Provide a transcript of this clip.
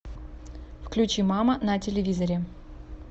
включи мама на телевизоре